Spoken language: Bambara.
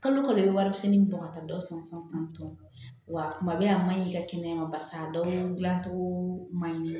Kalo kalo warimisɛnni bɔ ka taa dɔ san san tan wa kuma bɛ a maɲi i ka kɛnɛya ma barisa a dɔw dilancogo man ɲi